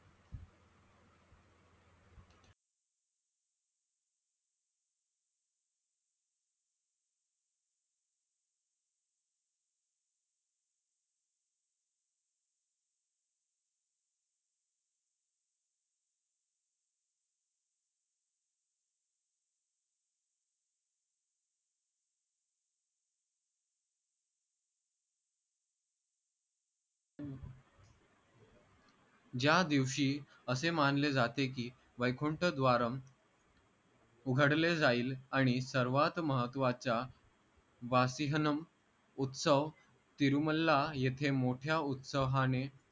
ज्या दिवशी असे मानले जाते की वैकुंठ द्वारंम उघडले जाईल आणि सर्वात महत्वाच्या वासिहनं उत्सव तिरुमल्ला येथे मोठ्या उत्साहाने